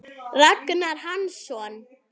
Ragnar Hansson